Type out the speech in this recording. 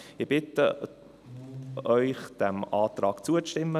Ich bitte Sie, diesem Antrag zuzustimmen.